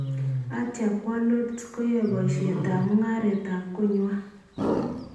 Atya kwoo Lodz koyai boisyet ab mungaret ab konywan